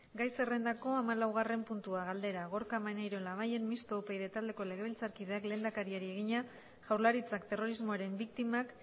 gai zerrendako hamalaugarren puntua galdera gorka maneiro labayen mistoa upyd taldeko legebiltzarkideak lehendakariari egina jaurlaritzak terrorismoaren biktimak